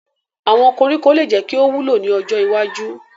Awọn koriko le jẹ ki o wulo ni ojo iwaju